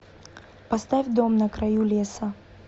поставь дом на краю леса